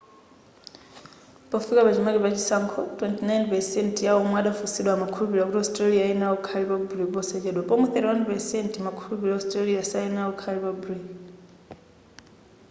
pofika pachimake pachisankho 29% ya omwe adafunsidwa amakhulupirira kuti australia iyenera kukhala republic posachedwa pomwe 31% amakhulupirira australia sayenera kukhala republic